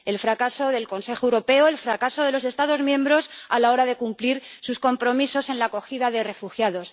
El fracaso del Consejo Europeo, el fracaso de los Estados miembros a la hora de cumplir sus compromisos en la acogida de refugiados.